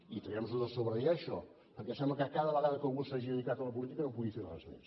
i traguem nosho de sobre ja això perquè sembla que cada vegada que algú s’hagi dedicat a la política no pugui fer res més